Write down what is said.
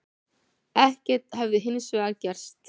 Ekkert hefði hins vegar gerst